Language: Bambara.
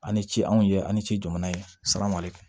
An ni ce anw ye ani ci jamana ye salawale